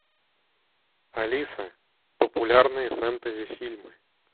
алиса популярные фэнтези фильмы